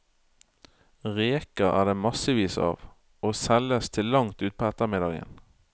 Reker er det massevis av, og selges til langt utpå ettermiddagen.